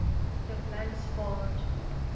the blind spot